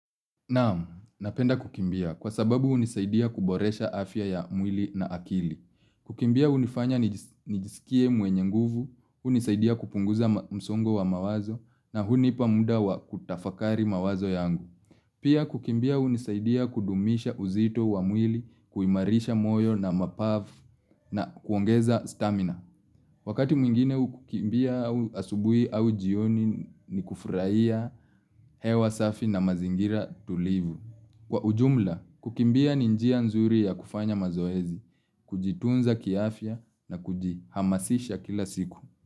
Naam, napenda kukimbia kwa sababu unisaidia kuboresha afya ya mwili na akili. Kukimbia hunifanya nijisikie mwenye nguvu, hunisaidia kupunguza msongo wa mawazo na hunipa muda wa kutafakari mawazo yangu. Pia kukimbia hunisaidia kudumisha uzito wa mwili kuimarisha moyo na mapafu na kuongeza stamina. Wakati mwingine kukimbia asubuhi au jioni ni kufurahia hewa safi na mazingira tulivu. Kwa ujumla, kukimbia ni njia nzuri ya kufanya mazoezi, kujitunza kiafya na kujihamasisha kila siku.